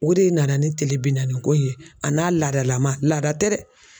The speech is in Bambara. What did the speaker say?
O de nana ni kile bi naaniko in ye a n'a laadalama laada tɛ dɛ.